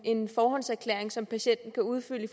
en forhåndserklæring som patienten kan udfylde